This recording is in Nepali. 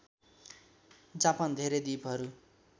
जापान धेरै द्विपहरू